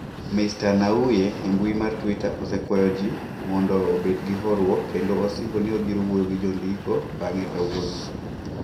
Mr Nnauye e mbui mar Twitter osekwayo ji mondo obed gi horuok kendo osingo ni obiro wuoyo gi jondiko bang’e kawuono.